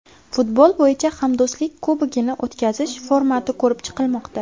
Futbol bo‘yicha Hamdo‘stlik Kubogini o‘tkazish formati ko‘rib chiqilmoqda.